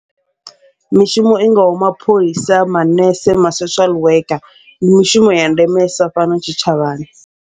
Mishumo i ngaho mapholisa, manese, masocial worker ndi mishumo ya ndemesa fhano tshitshavhani.